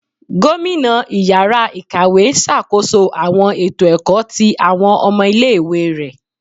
Gomina ìyára ikáwe n ṣakoso awọn eto ẹkọ ti awọn ọmọ ìlé-ìwé rẹ.